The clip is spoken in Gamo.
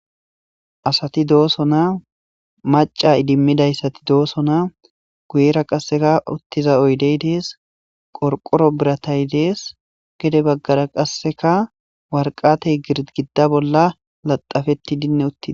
asati dooso naa maca idimmidayssati dooso naa guyera qasseka uttiza oydey dees qorqoro biratay dees gede baggara qasseka warqatey girgidda bolla laxafetti dinne uttii